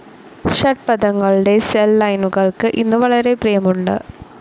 ഷഡ്പദങ്ങളുടെ cell ലൈനുകൾക്ക് ഇന്നു വളരെ പ്രിയമുണ്ട്.